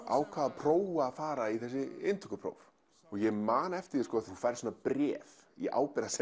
ákvað að prófa að fara í þessi inntökupróf og ég man eftir því þú færð svona bréf í